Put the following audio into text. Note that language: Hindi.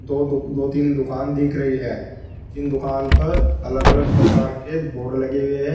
दो तीन दुकान दिख रही है इन दुकान पर अलग अलग प्रकार के बोर्ड लगे हुए हैं।